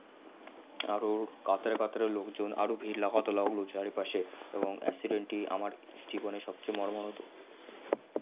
আরও কাতারে কাতারে লোকজন আরও ভির লাগাতে লাগলো চারিপাশে এবং accident টি আমার জিবনের সবচেয়ে মর্মাহত